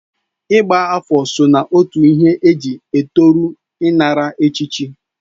Ịgba afọ so na otu ihe eji etoru ịnara echichi.